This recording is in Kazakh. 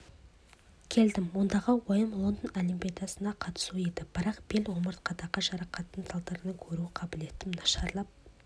келдім ондағы ойым лондон олимпиадасына қатысу еді бірақ бел омыртқадағы жарақаттың салдарынан көру қабілетім нашарлап